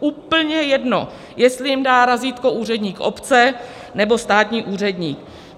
úplně jedno, jestli jim dá razítko úředník obce, nebo státní úředník.